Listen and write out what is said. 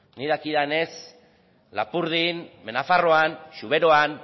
nik dakidanez lapurdin behe nafarroan zuberoan